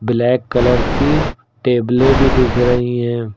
Black colour की टेबले भी दिख रही है।